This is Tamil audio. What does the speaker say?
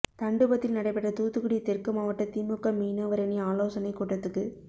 தண்டுபத்தில் நடைபெற்ற தூத்துக்குடி தெற்கு மாவட்ட திமுக மீனவரணி ஆலோசனைக் கூட்டத்துக்கு